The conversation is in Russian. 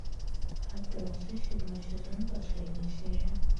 отбросы седьмой сезон последняя серия